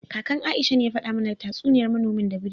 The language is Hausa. Kakan Aisha ne ya fada mana tatsuniyar manomin da biri